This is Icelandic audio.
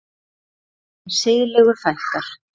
Þeim siðlegu fækkar.